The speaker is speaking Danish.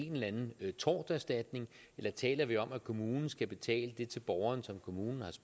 en eller anden torterstatning eller taler vi om at kommunen skal betale det til borgeren som kommunen